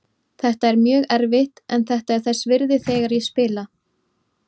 Þetta er mjög erfitt en þetta er þess virði þegar ég spila.